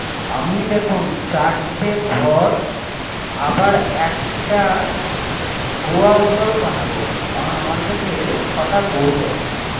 আমি দেখন চারটি ঘর আবার একটা গোয়াল বানাবো করান আমার কাছে ছয়টা গরু আছে